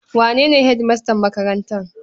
Wane ne hedimastan makarantar?